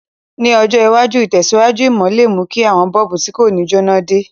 Ní ọjọ̀ iwájú, ìtẹ̀síwájú ìmò le mú ki àwon bulb ti ko ni jẹná de